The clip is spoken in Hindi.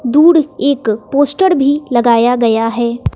दुड एक पोस्टर भी लगाया गया है।